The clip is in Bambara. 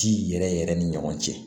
Ji yɛrɛ yɛrɛ ni ɲɔgɔn cɛ